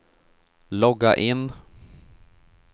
logga in